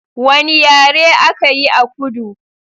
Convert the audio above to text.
Wanne yare aka yi a kudu?